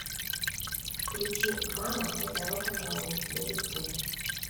включи мама это рок н ролл ддт